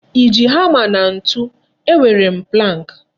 I ji hama na ntụ? E nwere m pụlank.